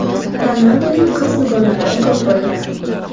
Ronalduning qiz dugonalari ko‘p bo‘lgan.